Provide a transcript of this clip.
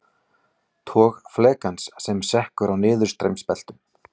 Tog flekans sem sekkur á niðurstreymisbeltum.